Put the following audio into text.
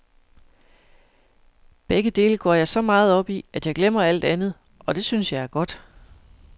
Begge dele går jeg så meget op i, at jeg glemmer alt andet, og det synes jeg er godt.